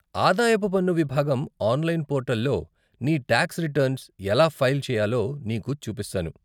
ఆదాయపు పన్ను విభాగం ఆన్లైన్ పోర్టల్లో నీ టాక్స్ రిటర్న్స్ ఎలా ఫైల్ చేయాలో నీకు చూపిస్తాను.